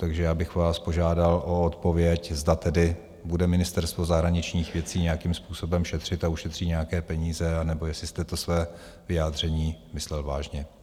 Takže já bych vás požádal o odpověď, zda tedy bude Ministerstvo zahraničních věcí nějakým způsobem šetřit a ušetří nějaké peníze, anebo jestli jste to své vyjádření myslel vážně.